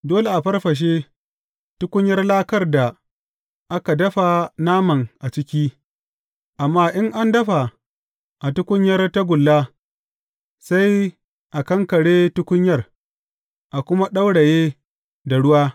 Dole a farfashe tukunyar lakar da aka dafa naman a ciki; amma in an dafa a tukunyar tagulla, sai a kankare tukunyar, a kuma ɗauraye da ruwa.